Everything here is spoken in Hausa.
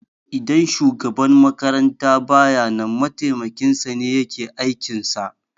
Idan shugaban makaranta baya nan mataimakin sane yake aikin sa